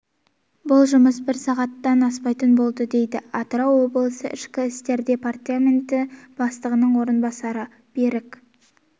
бұл жұмыс бір сағаттан аспайтын болды дейді атырау облысы ішкі істер департаменті бастығының орынбасары берік